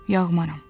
Yağmaram.